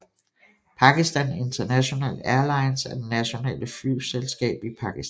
Pakistan International Airlines er det nationale flyselskab i Pakistan